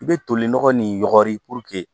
I bɛ tolinɔgɔ ni yɔrɔni